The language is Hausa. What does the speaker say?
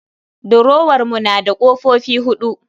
Durowar mu na da kofofi huɗu